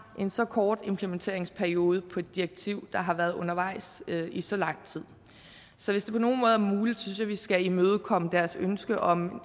en så kort implementeringsperiode på et direktiv der har været undervejs i så lang tid så hvis det på nogen måde er muligt synes jeg vi skal imødekomme deres ønske om